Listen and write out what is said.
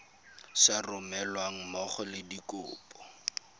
sa romelweng mmogo le dikopo